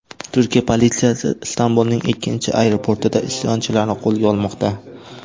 Turkiya politsiyasi Istanbulning ikkinchi aeroportida isyonchilarni qo‘lga olmoqda.